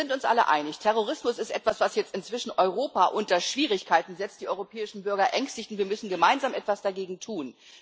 Wir sind uns alle einig Terrorismus ist etwas, was jetzt inzwischen Europa unter Schwierigkeiten setzt, die europäischen Bürger ängstigt und wir müssen gemeinsam etwas dagegen tun.